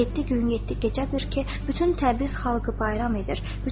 Yeddi gün, yeddi gecədir ki, bütün Təbriz xalqı bayram edir.